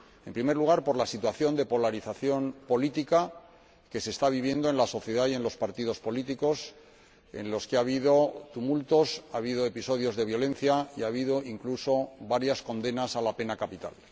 En primer lugar, por la situación de polarización política que se está viviendo en la sociedad y en los partidos políticos, pues ha habido tumultos, ha habido episodios de violencia y ha habido incluso varias condenas a la pena capital.